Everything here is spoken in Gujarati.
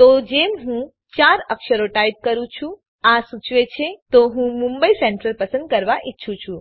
તો જેમ હું ૪ અક્ષરો ટાઈપ કરું છું આ સૂચવે છે તો હું મુંબઈ સેન્ટ્રલ પસંદ કરવા ઈચ્છું છું